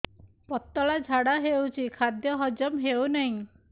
ପତଳା ଝାଡା ହେଉଛି ଖାଦ୍ୟ ହଜମ ହେଉନାହିଁ